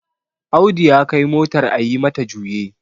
Audu ya Kai motar a yi mata juye